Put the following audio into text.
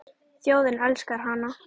Þjóðin elskar hana.